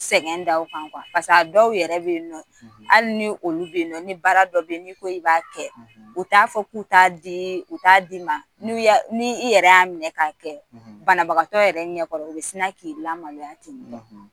Sɛgɛn da o kan a dɔw yɛrɛ bɛ yen nɔ, hali ni olu be yen nɔ ni baara dɔ be in nɔ n'i ko i b'a kɛ, u t'a fɔ, k'u t'a di, u t'a d'i ma, ni i yɛrɛ y'a minɛ k'a kɛ banabagatɔ yɛrɛ ɲɛkɔrɔ, u bɛ sina k'i lamaloya ten nɔ